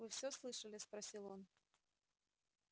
вы всё слышали спросил он